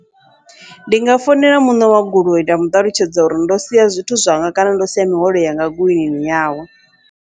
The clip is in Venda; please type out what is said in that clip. Ndi nga founela muṋe wa goloi nda muṱalutshedza uri ndo sia zwithu zwanga, kana ndo sia mihwalo yanga goloini yawe.